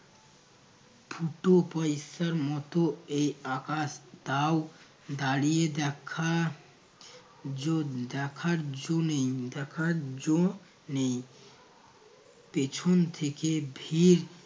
ফুটো পয়সার মতো এই আকাশ তাও দাঁড়িয়ে দেখা যো নেই দেখার যো নেই দেখার যো নেই। পেছন থেকে ভীড়